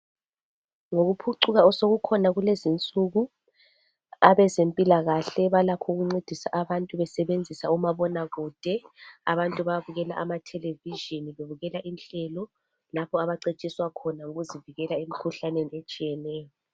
Ngokuphucuka osekukhona kulezinsuku abazempilakahle balakho ukuncedisa abantu besebenzisa umabonakude. Abantu bayabukela amathelevizhini bebukela inhlelo lapho abacetshiswa khona ukuzivikela emikhuhlaneni etshiyeneyo.